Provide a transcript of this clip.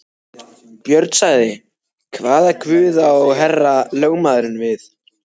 Björn sagði: Hvaða guð á herra lögmaðurinn við.